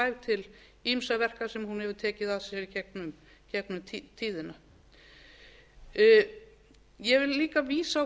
til ýmissa verka sem hún hefur tekið að sér í gegnum tíðina ég vil líka vísa á